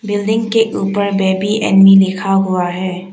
Building के ऊपर baby and me लिखा हुआ है।